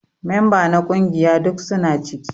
Memba na kungiƴa duk suna ciki.